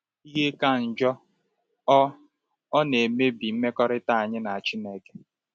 Ihe ka njọ, ọ ọ na-emebi mmekọrịta anyị na Chineke.